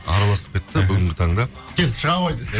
араласып кеттік бүгінгі таңда кел шыға ғой десе